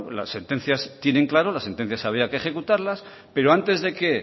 las sentencias tienen claro las sentencias había que ejecutarlas pero antes de que